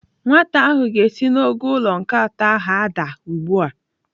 Nwata ahụ ga-esi n'ogo ụlọ nke atọ ahụ adaa ugbu a.